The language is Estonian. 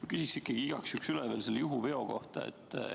Ma küsin ikkagi igaks juhuks üle selle juhuveo kohta.